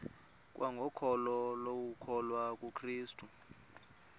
kwangokholo lokukholwa kukrestu